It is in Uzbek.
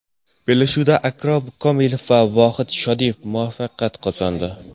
Bellashuvda Akrom Komilov va Vohid Shodiyev muvaffaqiyat qozondi.